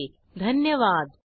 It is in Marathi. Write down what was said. सहभागासाठी धन्यवाद